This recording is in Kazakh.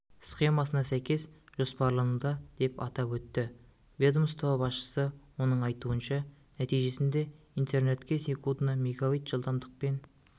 схемасына сәйкес жоспарлануда деп атап өтті ведомство басшысы оның айтуынша нәтижесінде интернетке секундына мегабит жылдамдықпен